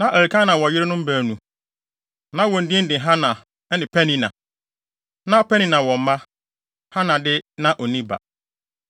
Na Elkana wɔ yerenom baanu. Na wɔn din de Hana ne Penina. Na Penina wɔ mma. Hana de, na onni ba.